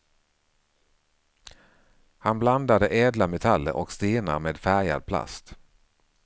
Han blandade ädla metaller och stenar med färgad plast.